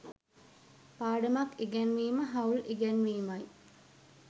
පාඩමක් ඉගැන්වීම හවුල් ඉගැන්වීමයි.